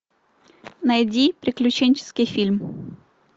найди приключенческий фильм